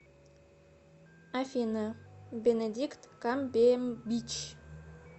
афина бенедикт камбембич